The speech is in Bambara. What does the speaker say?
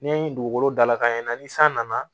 N'i ye dugukolo dala ka ɲɛ ni san nana